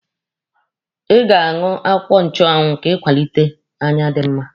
Ị ga-aṅụ akwụkwọ nchụanwụ ka ị kwalite anya dị mma.